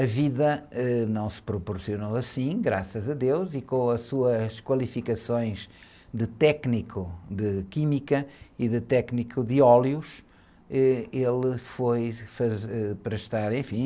A vida, ãh, não se proporcionou assim, graças a deus, e com as suas qualificações de técnico de química e de técnico de óleos, êh, ele foi prestar, enfim...